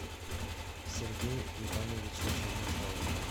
сергею ивановичу чернышову